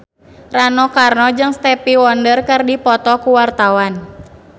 Rano Karno jeung Stevie Wonder keur dipoto ku wartawan